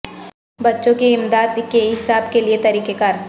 بچوں کی امداد کے حساب کے لئے طریقہ کار